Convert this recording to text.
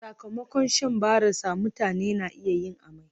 Sakamakon shan barasa, mutane na iya yin amai